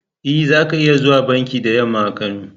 E, za ka iya zuwa banki da yamma a Kano.